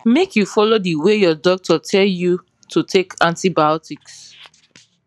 make you follow the way your doctor tell you to take antibiotics